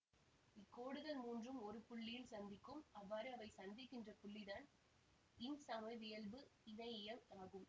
இக்கோடுகள் மூன்றும் ஒரு புள்ளியில் சந்திக்கும் அவ்வாறு அவை சந்திக்கின்ற புள்ளிதான் இன் சமவியல்பு இணையியம் ஆகும்